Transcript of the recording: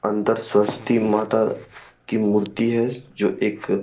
अंदर सरस्वती माता की मूर्ति है जो एक --